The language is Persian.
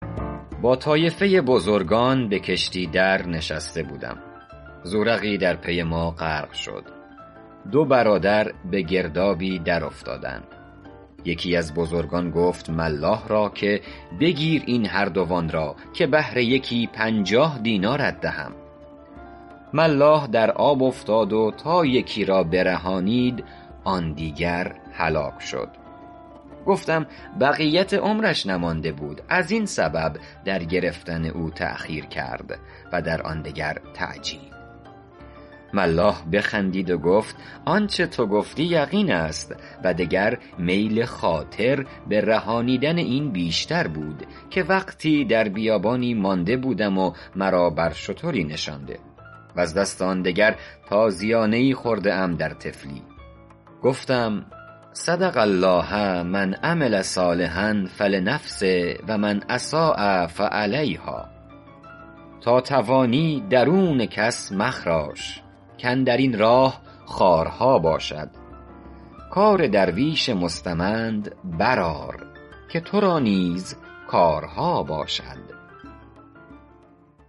با طایفه بزرگان به کشتی در نشسته بودم زورقی در پی ما غرق شد دو برادر به گردابی در افتادند یکی از بزرگان گفت ملاح را که بگیر این هر دو را که به هر یکی پنجاه دینارت دهم ملاح در آب افتاد و تا یکی را برهانید آن دیگر هلاک شد گفتم بقیت عمرش نمانده بود از این سبب در گرفتن او تأخیر کرد و در آن دگر تعجیل ملاح بخندید و گفت آنچه تو گفتی یقین است و دگر میل خاطر من به رهانیدن این بیشتر بود که وقتی در بیابانی مانده بودم و مرا بر شتری نشاند و از دست آن دگر تازیانه ای خورده ام در طفلی گفتم صدق الله من عمل صالحا فلنفسه و من أساء فعلیهٰا تا توانی درون کس مخراش کاندر این راه خارها باشد کار درویش مستمند بر آر که تو را نیز کارها باشد